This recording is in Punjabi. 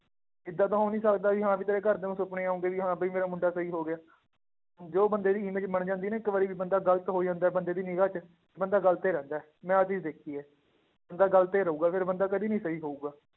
ਏਦਾਂ ਤਾਂ ਹੋ ਨੀ ਸਕਦਾ ਵੀ ਹਾਂ ਵੀ ਤੇਰੇ ਘਰਦਿਆਂ ਨੂੰ ਸੁਪਨੇ ਆਉਂਦੇ ਵੀ ਹਾਂ ਵੀ ਮੇਰਾ ਮੁੰਡਾ ਸਹੀ ਹੋ ਗਿਆ, ਜੋ ਬੰਦੇ ਦੀ image ਬਣ ਜਾਂਦੀ ਹੈ ਨਾ ਇੱਕ ਵਾਰੀ ਵੀ ਬੰਦਾ ਗ਼ਲਤ ਹੋ ਜਾਂਦਾ ਹੈ, ਬੰਦੇ ਨੀ ਨਿਗ੍ਹਾ 'ਚ ਬੰਦਾ ਗ਼ਲਤ ਹੀ ਰਹਿੰਦਾ ਹੈ, ਮੈਂ ਆਹ ਚੀਜ਼ ਦੇਖੀ ਹੈ, ਬੰਦਾ ਗ਼ਲਤ ਹੀ ਰਹੇਗਾ, ਫਿਰ ਬੰਦੇ ਕਦੇ ਨੀ ਸਹੀ ਹੋਊਗਾ,